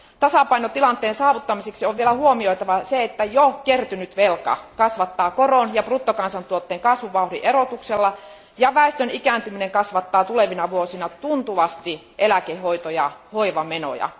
Tasapainotilanteen saavuttamiseksi on vielä huomioitava se, että jo kertynyt velka kasvattaa koron ja bruttokansantuotteen kasvuvauhdin erotuksella, ja väestön ikääntyminen kasvattaa tulevina vuosina tuntuvasti eläke hoito ja hoivamenoja.